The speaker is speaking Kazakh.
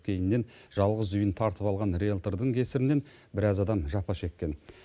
кейіннен жалғыз үйін тартып алған риэлтордың кесірінен біраз адам жапа шеккен